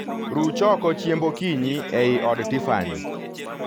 Ruch oko chiemb okinyi ei od Tiffany